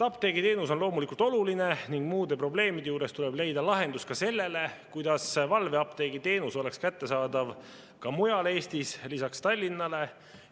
Apteegiteenus on loomulikult oluline ning muude probleemide kõrval tuleb leida lahendus ka sellele, kuidas valveapteegiteenus oleks kättesaadav ka mujal Eestis, lisaks Tallinnale.